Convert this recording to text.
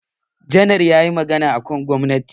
Janar ya yi magana akan gwamnati.